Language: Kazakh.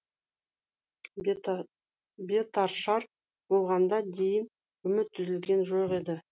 бетаршар болғанға дейін үміті үзілген жоқ еді